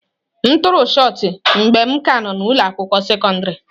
M tụrụ shọt pụtụ mgbe m ka nọ n'ụlọ akwụkwọ sekọndrị.